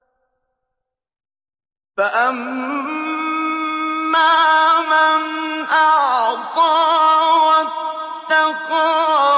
فَأَمَّا مَنْ أَعْطَىٰ وَاتَّقَىٰ